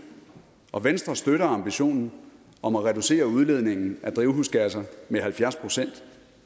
og venstre støtter ambitionen om at reducere udledningen af drivhusgasser med halvfjerds procent